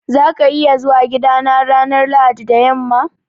Za ka iya zuwa gidana ranar Lahadi da yamma?